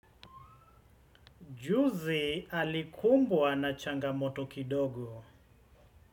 Juzi alikumbwa na changamoto kidogo.